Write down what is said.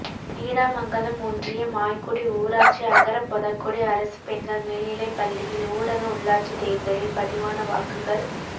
நீடாமங்கலம் ஒன்றியம் ஆய்குடி ஊராட்சி அகரப் பொதக்குடி அரசு பெண்கள் மேல்நிலைப்பப்பள்ளியில் ஊரக உள்ளாட்சித் தேர்தலில் பதிவான வாக்குகள்